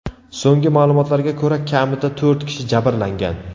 So‘nggi ma’lumotlarga ko‘ra, kamida to‘rt kishi jabrlangan.